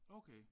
Okay